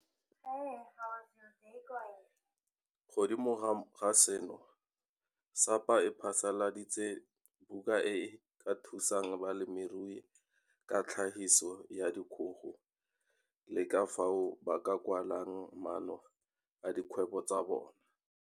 Mo godimo ga seno, SAPA e phasaladitse buka e e ka thusang balemirui ka tlhagiso ya dikgogo le ka fao ba ka kwalang maano a dikgwebo tsa bona.